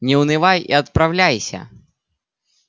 не унывай и отправляйся